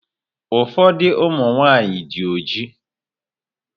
Ụfọdụ ụmụ nwaanyị dị ojii.